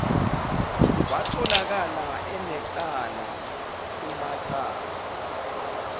watholakala enecala kumacala